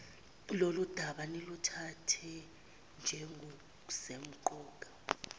lolundaba niluthathe njengolusemqoka